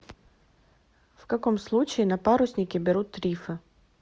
в каком случае на паруснике берут рифы